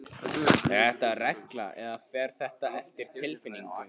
Er þetta regla eða fer þetta eftir tilfinningu þeirra?